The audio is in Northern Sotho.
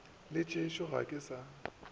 le tšešo ga ke sa